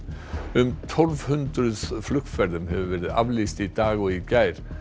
um tólf hundruð flugferðum hefur verið aflýst í dag og í gær